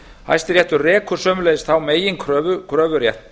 hæstiréttur rekur sömuleiðis þá meginreglu kröfuréttar